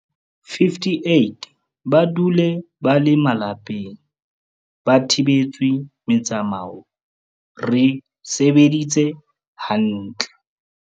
58 ba dule ba le malapeng ba thibetswe metsamao, re sebeditse ha ntle.